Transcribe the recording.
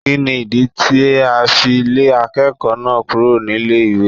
Kínni ìdí tí a fi lé akẹ́kọ̀ọ́ náà kúrò nílé ìwé.?